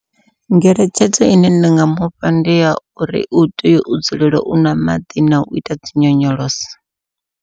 Ngeletshedzo ine nda nga mufha ndi ya uri u tea u dzulela u nwa maḓi nau ita dzi nyonyoloso.